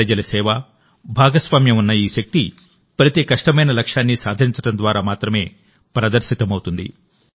ప్రజల సేవ భాగస్వామ్యం ఉన్న ఈ శక్తి ప్రతి కష్టమైన లక్ష్యాన్ని సాధించడం ద్వారా మాత్రమే ప్రదర్శితమవుతుంది